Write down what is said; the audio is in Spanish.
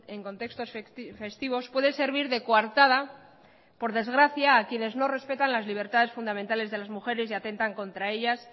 en contextos festivos puede servir de coartada por desgracia a quienes no respetan las libertades fundamentales de las mujeres y atentan contra ellas